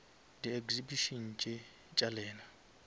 di exhibition tše tša lena